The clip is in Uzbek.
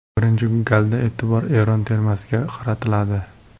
Birinchi galda e’tibor Eron termasiga qaratiladi.